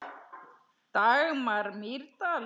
Dagmar Mýrdal.